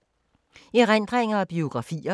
Erindringer og biografier